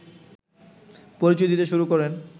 পরিচয় দিতে শুরু করেন